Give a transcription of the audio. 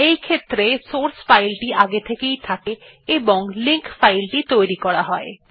এইক্ষেত্রে সোর্স ফাইলটি আগে থেকেই থাকে এবং লিঙ্ক ফাইলটি তৈরী করা হয়